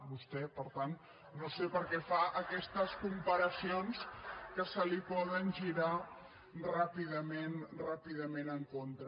vostè per tant no sé perquè fa aquestes comparacions que se li poden girar ràpidament ràpidament en contra